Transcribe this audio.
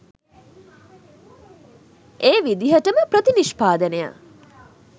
ඒ විදිහටම ප්‍රතිනිෂ්පාදනය